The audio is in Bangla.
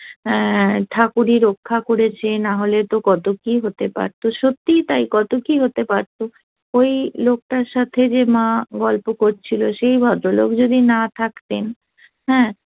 অ্যা ঠাকুর ই রক্ষা করেছে না হলে তো কত কি হতে পারত সত্যিই তাই কত কি হতে পারত ইয়ে হতে পারতো ওই লোকটার সাথে যে মা গল্প করছিল সেই ভদ্রলোক যদি না থাকতেন হ্যাঁ